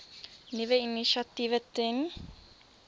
nuwe initiatiewe ten